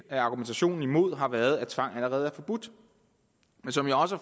af argumentationen imod forslaget har været at tvang allerede er forbudt men som jeg også